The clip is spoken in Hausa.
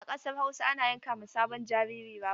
A ƙasar Hausa ana yanka ma sabon jariri rago.